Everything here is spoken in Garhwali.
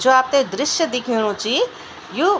जू आपते दृश्य दिखेणु ची यु --